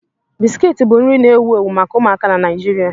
Biscuits bụ nri na-ewu ewu maka ụmụaka na Nigeria.